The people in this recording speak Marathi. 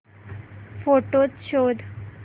फोटोझ शोध